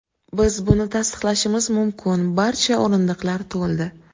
Biz buni tasdiqlashimiz mumkin barcha o‘rindiqlar to‘ldi.